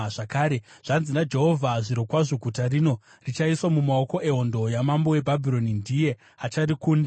Zvakare, zvanzi naJehovha: ‘Zvirokwazvo guta rino richaiswa mumaoko ehondo yamambo weBhabhironi, ndiye acharikunda.’ ”